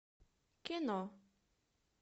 кино